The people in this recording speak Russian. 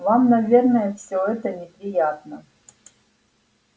вам наверное все это неприятно